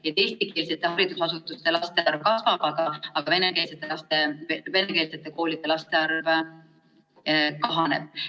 Seega, eestikeelsete haridusasutuste laste arv kasvab, aga venekeelsete koolide laste arv kahaneb.